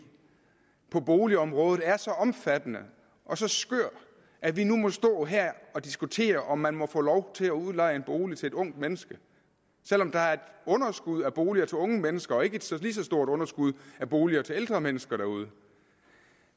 på boligområdet er så omfattende og så skør at vi nu må stå her og diskutere om man må få lov til at udleje en bolig til et ungt menneske selv om der er et underskud af boliger til unge mennesker og ikke et lige så stort underskud af boliger til ældre mennesker derude